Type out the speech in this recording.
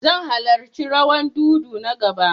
Zan halarci rawan dodo na gaba.